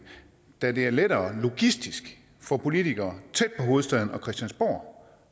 da det ofte er lettere logistisk for politikere tæt på hovedstaden og christiansborg